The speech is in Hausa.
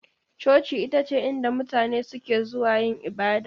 Coci ita ce inda mutane suke zuwa yin ibada.